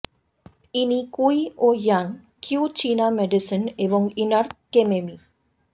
ইনি কুই ও ইয়াং কিউ চীনা মেডিসিন এবং ইনার কেমেমি